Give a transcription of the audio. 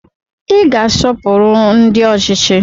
Ị ga-asọpụrụ ndị ọchịchị!